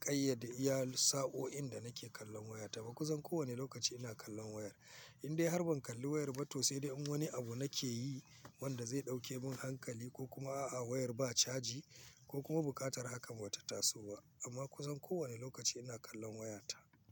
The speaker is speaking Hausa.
ƙayyade iyallin sa'o'in da nake kallon wayata ba. Ku san kowane lokaci ina kallon wayar. Indai har ban kalli wayar ba to sai dai in wani abu nake yi wanda zai ɗauke mun hankali ko kuma a'a wayar ba caji ko kuma buƙatar hakan bata taso ba. Amma ku zan kowane lokaci ina kallon wayata.